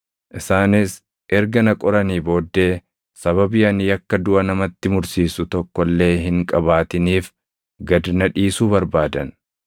Isaanis erga na qoranii booddee sababii ani yakka duʼa namatti mursiisu tokko illee hin qabaatiniif gad na dhiisuu barbaadan.